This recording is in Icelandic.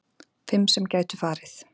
Fimm sem gætu farið